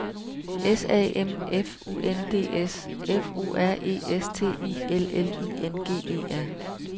S A M F U N D S F O R E S T I L L I N G E R